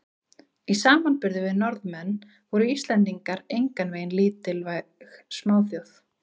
Í samanburði við Norðmenn voru Íslendingar engan veginn lítilvæg smáþjóð.